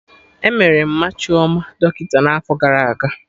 Emere Mma Chioma dọkịta n'afọ gara aga